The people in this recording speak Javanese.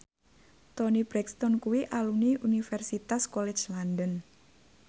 Toni Brexton kuwi alumni Universitas College London